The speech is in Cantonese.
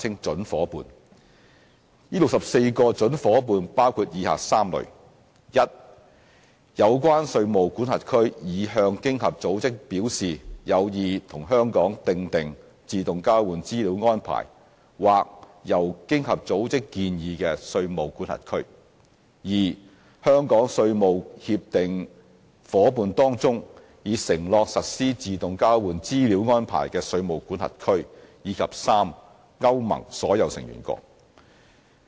這64個準夥伴包括以下3類： a 有關稅務管轄區已向經合組織表示有意與香港訂定自動交換資料安排或由經合組織建議的稅務管轄區； b 香港稅務協定夥伴當中已承諾實施自動交換資料安排的稅務管轄區；及 c 歐盟所有成員國。